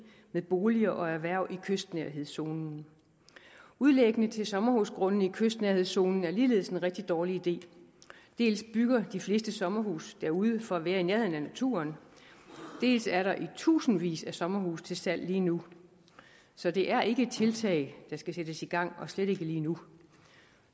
med boliger og erhverv i kystnærhedszonen udlægning til sommerhusgrunde i kystnærhedszonen er ligeledes en rigtig dårlig idé dels bygger de fleste sommerhuse derude for at være i nærheden af naturen dels er der i tusindvis af sommerhuse til salg lige nu så det er ikke et tiltag der skal sættes i gang og slet ikke lige nu